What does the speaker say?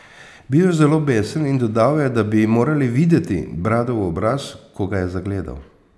Bil je zelo besen in dodal je, da bi morali videti Bradov obraz, ko ga je zagledal.